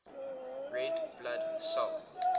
red blood cell